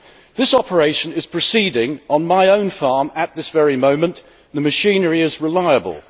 This operation is proceeding on my own farm at this very moment, and the machinery is reliable.